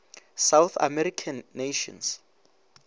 south american nations